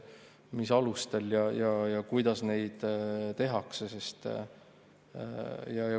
Mis alustel ja kuidas neid tehakse?